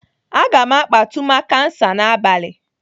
Aga m akpa tumakansa n'abalị.